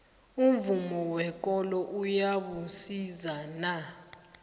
umvumo wekolo uyabusisana